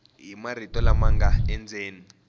hi marito lama nga endzeni